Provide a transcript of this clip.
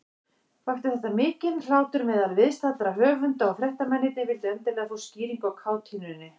Vakti þetta mikinn hlátur meðal viðstaddra höfunda, og fréttamennirnir vildu endilega fá skýringu á kátínunni.